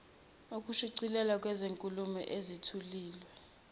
ukushicilelwa kwezinkulumo ezithuliwe